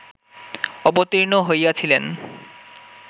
অবতীর্ণ হইয়াছিলেন